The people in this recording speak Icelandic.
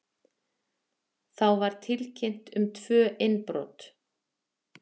Þá var tilkynnt um tvö innbrot